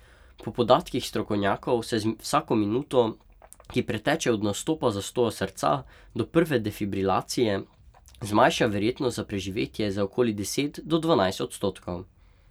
Po podatkih strokovnjakov se z vsako minuto, ki preteče od nastopa zastoja srca do prve defibrilacije, zmanjša verjetnost za preživetje za okoli deset do dvanajst odstotkov.